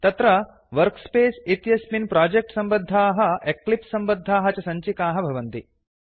अत्र वर्कस्पेस इत्यस्मिन् प्रोजेक्ट् सम्भद्धाः एक्लिप्स् सम्बद्धाः च सञ्चिकाः भवन्ति